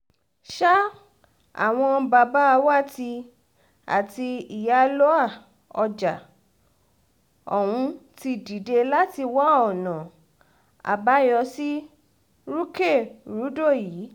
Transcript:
sa àwọn babawati àti iyálóà ọjà ọ̀hún ti dìde láti wá ọ̀nà àbáyọ sí rúkèrúdò yìí